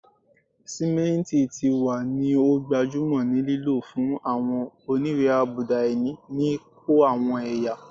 Simenti ti wa ni o gbajumo ni lilo fun awọn oniwe-abuda-ini ni ko awọn ẹya